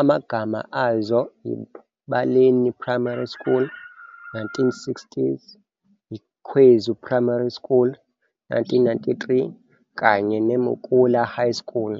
amagama azo yiBaleni Primary School, 1960s, iKhwezu Primary School, 1993, kanye neMukula High School.